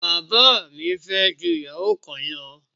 Bàbá mi fẹ́ ju ìyàwó kan lọ.